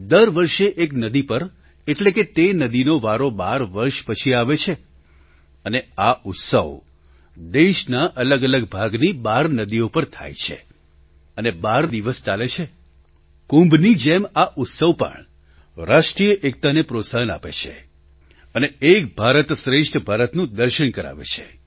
દર વર્ષે એક નદી પર એટલે કે તે નદીનો વારો બાર વર્ષ પછી આવે છે અને આ ઉત્સવ દેશના અલગઅલગ ભાગની બાર નદીઓ પર થાય છે વારાફરતી થાય છે અને બાર દિવસ ચાલે છે કુંભની જેમ આ ઉત્સવ પણ રાષ્ટ્રીય એકતાને પ્રોત્સાહન આપે છે અને એક ભારત શ્રેષ્ઠ ભારતનું દર્શન કરાવે છે